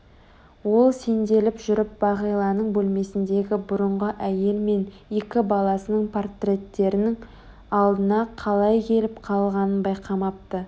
ол сенделіп жүріп бағиланың бөлмесіндегі бұрынғы әйелі мен екі баласының портреттерінің алдына қалай келіп қалғанын байқамапты